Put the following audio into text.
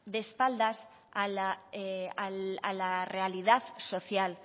de espaldas a la realidad social